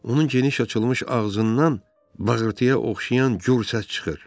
Onun geniş açılmış ağzından bağırtıya oxşayan gur səs çıxır.